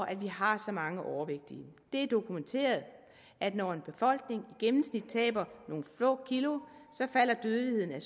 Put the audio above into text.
at vi har så mange overvægtige det er dokumenteret at når en befolkning i gennemsnit taber nogle få kilo falder dødeligheden i